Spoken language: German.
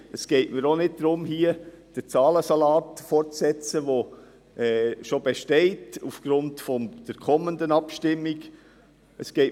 Es geht mir hier auch nicht darum, den Zahlensalat fortzusetzen, der aufgrund der kommenden Abstimmung bereits besteht.